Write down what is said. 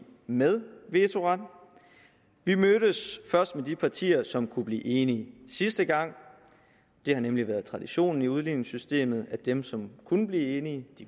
med vetoret vi mødtes først med de partier som kunne blive enige sidste gang det har nemlig været traditionen i udligningssystemet at dem som kunne blive enige